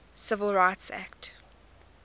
civil rights act